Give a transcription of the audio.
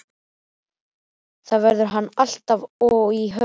Þar verður hann alltaf og í höfðinu.